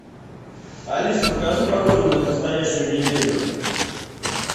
алиса покажи погоду на предстоящую неделю